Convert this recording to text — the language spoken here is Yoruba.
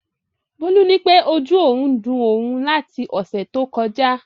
Bólú nípé ojú òun ń dun òun láti ọ̀sẹ̀ tó kọjá